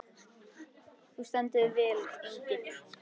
Þú stendur þig vel, Engill!